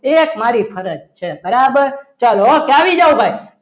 એક મારી ફરજ છે બરાબર ચાલો કે આવી જાવ ભાઈ